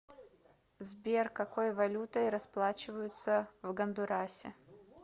сбер какой валютой расплачиваются в гондурасе